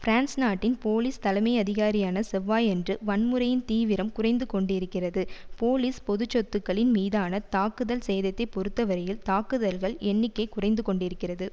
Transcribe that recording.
France நாட்டின் police தலைமையதிகாரியான செவ்வாயன்று வன்முறையின் தீவிரம் குறைந்து கொண்டிருக்கிறது போலீஸ் பொது சொத்துக்களின் மீதான தாக்குதல் சேதத்தை பொறுத்தவரையில் தாக்குதல்கள் எண்ணிக்கை குறைந்து கொண்டிருக்கிறது